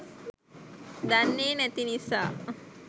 දන්නේ නැති නිසා.